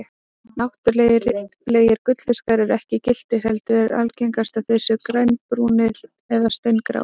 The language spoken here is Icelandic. Náttúrulegir gullfiskar eru ekki gylltir heldur er algengast að þeir séu grænbrúnir og steingráir.